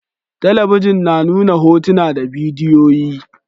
Talabijin na nuna hotuna da bidiyoyi